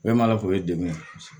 Bɛɛ m'a lafo o ye degun ye